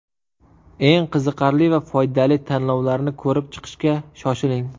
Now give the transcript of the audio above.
Eng qiziqarli va foydali tanlovlarni ko‘rib chiqishga shoshiling!